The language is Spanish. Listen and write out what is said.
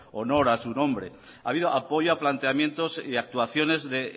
honor a su nombre ha habido apoyo a planteamientos y actuaciones de